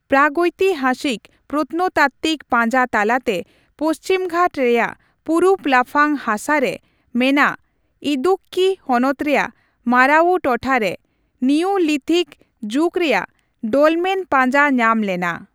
ᱯᱨᱟᱜᱳᱭᱛᱤᱠᱦᱟᱥᱤᱠ ᱯᱨᱚᱛᱚᱱᱚᱛᱟᱠᱛᱤᱠ ᱯᱟᱸᱡᱟ ᱛᱟᱞᱟᱛᱮ ᱯᱚᱪᱷᱤᱢᱜᱷᱟᱴ ᱨᱮᱭᱟᱜ ᱯᱩᱨᱩᱵ ᱞᱟᱯᱷᱟᱝ ᱦᱟᱥᱟ ᱨᱮ ᱢᱮᱱᱟᱜ ᱤᱫᱩᱠᱠᱤ ᱦᱚᱱᱚᱛ ᱨᱮᱭᱟᱜ ᱢᱟᱨᱟᱣᱩ ᱴᱚᱴᱷᱟᱨᱮ ᱱᱤᱣᱞᱤᱛᱷᱠ ᱡᱩᱜ ᱨᱮᱭᱟᱜ ᱰᱚᱞᱢᱮᱱ ᱯᱟᱸᱡᱟ ᱧᱟᱢ ᱞᱮᱱᱟ ᱾